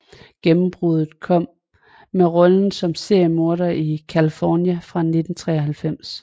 Gennembruddet kom med rollen som seriemorder i Kalifornia fra 1993